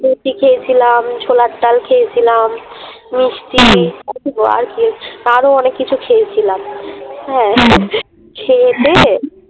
রুটি খেয়েছিলাম, ছোলার ডাল খেয়েছিলাম, মিষ্টি আরো অনেক কিছু খেয়েছিলাম। হ্যাঁ খেয়ে টেয়ে